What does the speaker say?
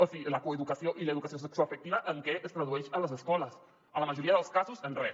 o sigui la coeducació i l’educació sexoafectiva en què es tradueix a les escoles en la majoria dels casos en res